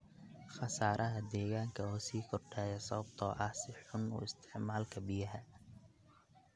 Khasaaraha deegaanka oo sii kordhaya sababtoo ah si xun u isticmaalka biyaha.